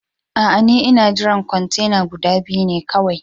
Aa, n'na jira kwantena guda biyu ne kawai.